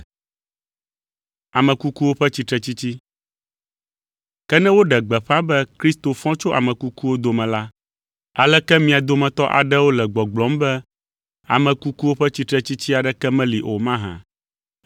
Ke ne woɖe gbeƒã be Kristo fɔ tso ame kukuwo dome la, aleke mia dometɔ aɖewo le gbɔgblɔm be ame kukuwo ƒe tsitretsitsi aɖeke meli o mahã?